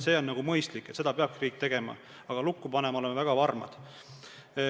See on mõistlik, seda peabki riik tegema, aga lukku panema oleme väga varmad.